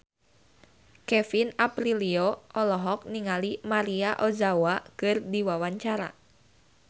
Kevin Aprilio olohok ningali Maria Ozawa keur diwawancara